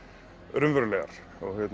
raunverulegar